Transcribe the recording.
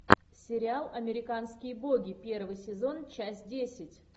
сериал американские боги первый сезон часть десять